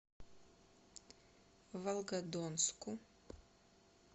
волгодонску